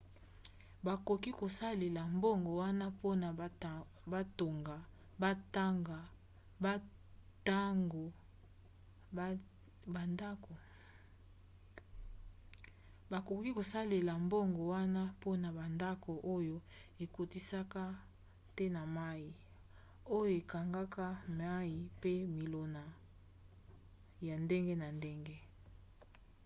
bakoki kosalela mbongo wana mpona bandako oyo ekotisaka te mai oyo ekangaka mai mpe milona ya ndenge na ndenge